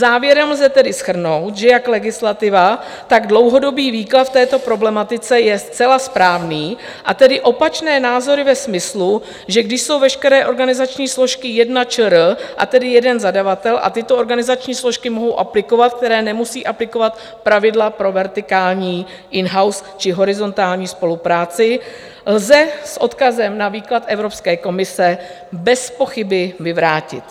Závěrem lze tedy shrnout, že jak legislativa, tak dlouhodobý výklad v této problematice je zcela správný, a tedy opačné názory ve smyslu, že když jsou veškeré organizační složky jedna ČR, a tedy jeden zadavatel, a tyto organizační složky mohou aplikovat, které nemusí aplikovat pravidla pro vertikální in-house či horizontální spolupráci, lze s odkazem na výklad Evropské komise bezpochyby vyvrátit.